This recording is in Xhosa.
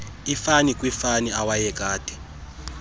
ifani kwiifani awayekade